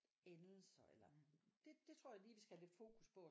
Endelser eller det det tror jeg lige vi skal have lidt fokus på